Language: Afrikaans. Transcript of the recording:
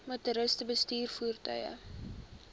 motoriste bestuur voertuie